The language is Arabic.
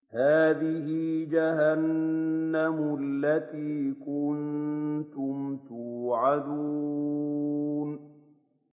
هَٰذِهِ جَهَنَّمُ الَّتِي كُنتُمْ تُوعَدُونَ